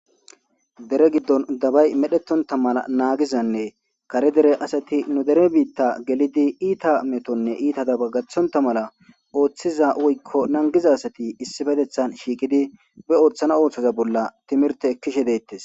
Dere giddon dabay medhetontta mala nagizanne kare dere asati nu dere biitta geliddi iitta metonne itta zaba gathontta mala oththiza woyko nangiza asatti issipetteththan shiqiddi be ottanaw oththoza bolla timirte ekashshe de'ettes .